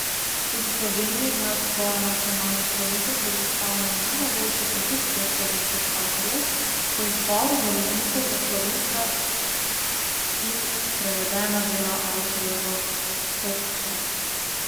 Tudi Slovenija ima svojo nacionalno stojnico, ki predstavlja najnovejšo produkcijo slovenskih avtorjev po izboru založnikov ter slovenska in prevedena dela avtorjev v fokusu.